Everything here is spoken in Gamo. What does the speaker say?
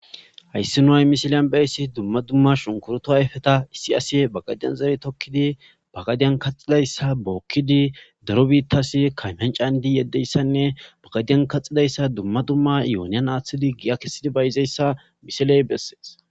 hayssi nuhay misiliyan bayssi dumma dumma shunkuruto ayfeta issi asi bagadiyan zere tokkidi bagadiyan kaxidayssa bookkidi daro biittasi kaymancandi yeddeyssanne bagadiyan kaxidayssa dumma dumma yooniyan aaththidi giya kessidi bayizeyssa misiley bessees